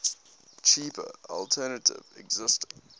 cheaper alternative existed